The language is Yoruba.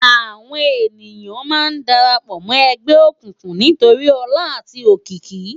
Àwón éniyán má n dàrâpò mò ègbè ókúkú nitóri òlá âti ókiki